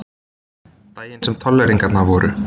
Daginn sem tolleringarnar voru.